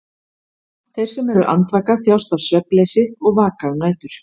Þeir sem eru andvaka þjást af svefnleysi og vaka um nætur.